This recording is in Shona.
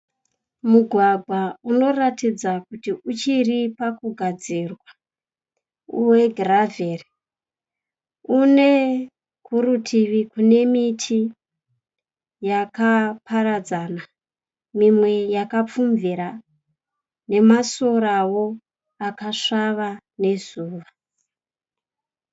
Mugwagwa unoratidza kuti uchiri pakugadzirwa wegiravheri. Une kurutivi kunemiti yakaparadzana mimwe takapfumbira nemasoravo akasvava nezuva.